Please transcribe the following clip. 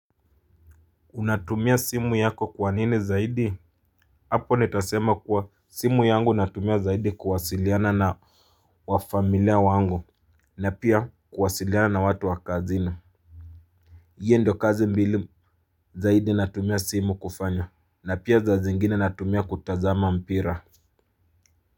Unatumia simu yako kwa nini zaidi? Hapo nitasema kuwa simu yangu natumia zaidi kuwasiliana na wafamilia wangu na pia kuwasiliana na watu wa kazina. Hio ndio kazi mbili zaidi natumia simu kufanya na pia zaa zingine natumia kutazama mpira.